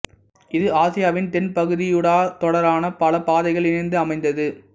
இது ஆசியாவின் தென்பகுதியூடாகத் தொடரான பல பாதைகள் இணைந்து அமைந்தது